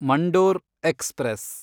Mandore express